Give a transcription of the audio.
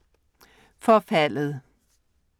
Forfaldet